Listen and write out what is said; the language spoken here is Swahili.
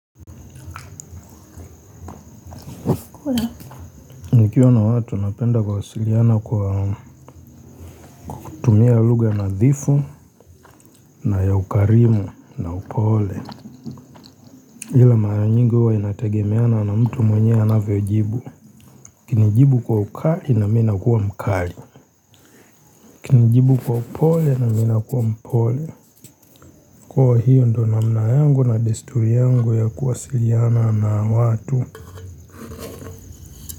Nikiwa na watu napenda kuwasiliana kwa kwa kutumia lugha nadhifu na ya ukarimu na upole ila mara nyingi huwa inategemeana na mtu mwenyewe anavyojibu ukinijibu kwa ukali na mimi nakuwa mkali ukinijibu kwa upole na mimi nakuwa mpole kwa hiyo ndiyo namna yangu na desturi yangu ya kuwasiliana na watu.